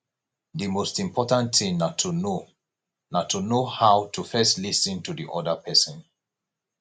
di most important thing na to know na to know how to first lis ten to di oda person